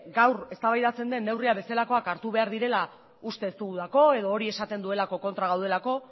gaur eztabaidatzen den neurriak bezalakoak hartu behar direla uste ez dugulako edo hori esaten duelako kontra gaudelako